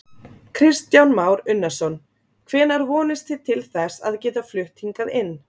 Kristján Már Unnarsson: Hvenær vonist þið til þess að geta flutt hingað inn?